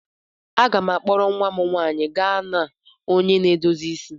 M ga-akpọrọ nwa m nwanyị gaa na onye na-edozi isi.